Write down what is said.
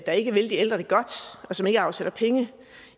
der ikke vil de ældre det godt og som ikke afsætter penge